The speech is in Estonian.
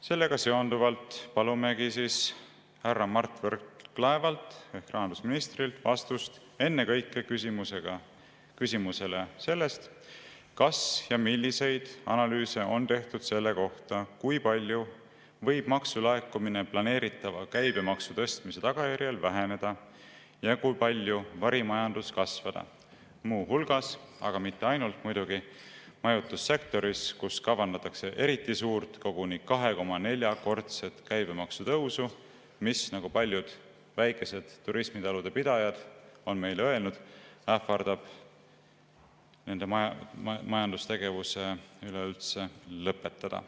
Sellega seonduvalt palumegi härra Mart Võrklaevalt ehk rahandusministrilt vastust ennekõike küsimusele, kas ja milliseid analüüse on tehtud selle kohta, kui palju võib maksulaekumine planeeritava käibemaksu tõstmise tagajärjel väheneda ja kui palju võib varimajandus kasvada, muu hulgas – aga muidugi mitte ainult – majutussektoris, kus kavandatakse eriti suurt, koguni 2,4‑kordset käibemaksu tõusu, mis, nagu paljud väikeste turismitalude pidajad on meile öelnud, ähvardab nende majandustegevuse üleüldse lõpetada.